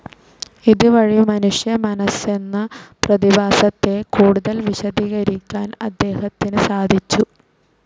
ഇത് വഴി മനുഷ്യ മനസെന്ന പ്രതിഭാസത്തെ കൂടുതൽ വിശദീകരിക്കാൻ അദ്ദേഹത്തിന് സാധിച്ചു.